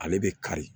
Ale bɛ kari